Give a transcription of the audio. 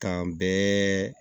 K'an bɛɛ